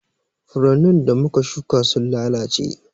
Furannin da muka shuƙa sun lalace.